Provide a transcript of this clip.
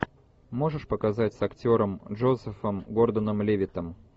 можешь показать с актером джозефом гордоном левиттом